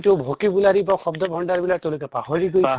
তু vocabulary বা শব্দ ভন্দাৰ বিলাক তেওঁলোকে পাহৰি গৈছে